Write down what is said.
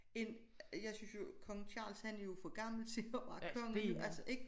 End jeg synes jo Kong Charles han er jo for gammel til at være konge jo altså ik